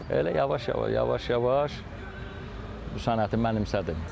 Elə yavaş-yavaş yavaş-yavaş bu sənəti mənimsədim.